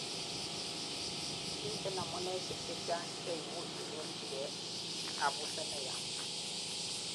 miten amuneisiek chechang cheimuch inyorchigei kabuset neyaa